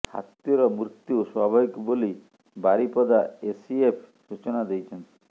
ହାତୀର ମୃତ୍ୟୁ ସ୍ୱାଭାବିକ ବୋଲି ବାରିପଦା ଏସିଏଫ୍ ସୂଚନା ଦେଇଛନ୍ତି